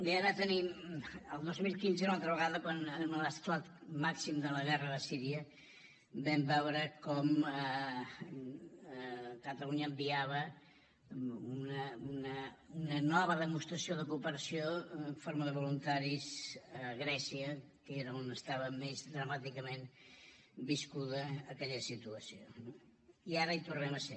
bé ara tenim el dos mil quinze una altra vegada amb l’esclat màxim de la guerra de síria vam veure com catalunya enviava una nova demostració de cooperació en forma de voluntaris a grècia que era on estava més dramàticament viscuda aquella situació no i ara hi tornem a ser